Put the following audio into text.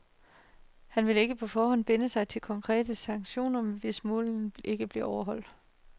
Han vil ikke på forhånd binde sig til konkrete sanktioner, hvis målene ikke bliver overholdt.